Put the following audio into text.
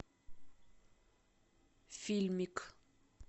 фильмик